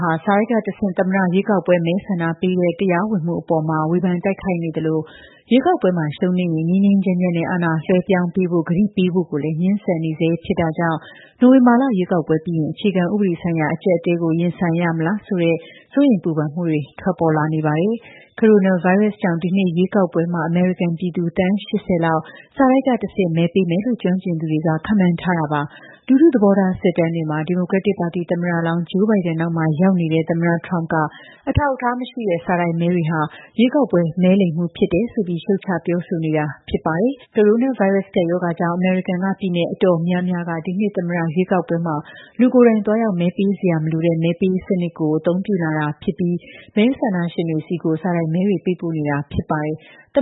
ဟာ စာတိုက်ကတဆင့် သမ္မတရွေးကောက်ပွဲ မဲဆန္ဒပေးတဲ့ တရားဝင်မှုအပေါ်မှာ ဝေဖန်တိုက်ခိုက်နေသလို ရွေးကောက်ပွဲမှာ ရှုံးနိမ့်ရင် ငြိမ်းငြိမ်းချမ်းချမ်းနဲ့ အာဏာလွှဲပြောင်းပေးဖို့ ကတိပေးဖို့ကိုလည်း ငြင်းဆန်နေဆဲ ဖြစ်တာကြောင့် နိုဝင်ဘာလ ရွေးကောက်ပွဲပြီးရင် အခြေခံဥပဒေဆိုင်ရာ အကျပ်အတည်းကို ရင်ဆိုင်ရမလားဆိုတဲ့ စိုးရိမ်ပူပန်မှုတွေ ထွက်ပေါ်လာနေပါတယ်။ ကိုရိုနာဗိုင်းရပ်စ်ကြောင့် ဒီနှစ် ရွေးကောက်ပွဲမှာ အမေရိကန်ပြည်သူ သန်း ၈၀ က စာတိုက်ကတဆင့် မဲပေးမယ်လို့ ကျွမ်းကျင်သူတွေက ခန့်မှန်းထားတာပါ။ လူထုသဘောထား စစ်တမ်းတွေမှာ ဒီမိုကရက်တစ်ပါတီ သမ္မတလောင်း Joe Biden နောက်မှာ ရောက်နေတဲ့ သမ္မတ Trump က အထောက်အထားမရှိတဲ့ စာတိုက်မဲတွေဟာ ရွေးကောက်ပွဲ မဲလိမ်မှု ဖြစ်တယ်ဆိုပြီး ရှုတ်ချ ပြောဆိုနေတာ ဖြစ်ပါတယ်။ ကိုရိုနာဗိုင်းရပ်စ် ကပ်ရောဂါကြောင့် အမေရိကန်က ပြည်နယ် တော်တော်များများက ဒီနှစ် သမ္မတရွေးကောက်ပွဲမှာ လူကိုယ်တိုင်သွားရောက် မဲပေးစရာ မလိုတဲ့ မဲပေးစနစ်ကို တိုးချဲ့အသုံးပြုလာတာဖြစ်ပြီး မဲဆန္ဒရှင်တွေဆီကို စာတိုက်မဲတွေ ပေးပို့နေတာ ဖြစ်ပါတယ်။ သမ